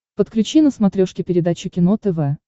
подключи на смотрешке передачу кино тв